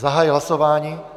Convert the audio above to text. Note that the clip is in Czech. Zahajuji hlasování.